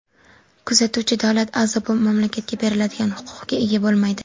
Kuzatuvchi davlat a’zo mamlakatga beriladigan huquqqa ega bo‘lmaydi.